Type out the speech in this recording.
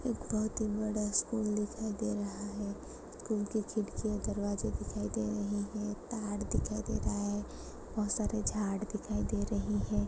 एक बहुत ही बड़ा स्कूल दिखाई दे रहा है स्कूल की खिड़की दरवाजे दिखाई दे रही हैं तार दिखाई दे रहा है बहुत सारे झाड़ दिखाई दे रही है।